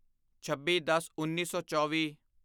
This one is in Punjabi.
ਛੱਬੀਦਸਉੱਨੀ ਸੌ ਚੌਵੀ